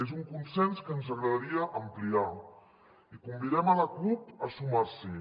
és un consens que ens agradaria ampliar i convidem la cup a sumar s’hi